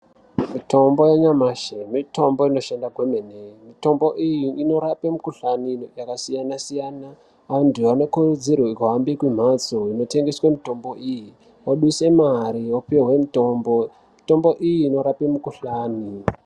Mitombo ya nyamashi mitombo inoshanda kwemene mitombo iyi inorape mikuhlani yaka siyana siyana antu vano kurudzirwe ku hambe ku mhatso ino tengeswe mitombo iyi oduse mari opihwe mutombo mitombo iyi inorape mikuhlani.